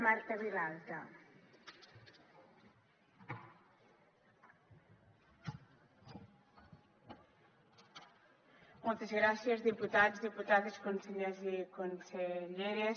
moltes gràcies diputats diputades consellers i conselleres